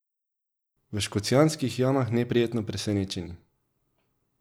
V Škocjanskih jamah neprijetno presenečeni.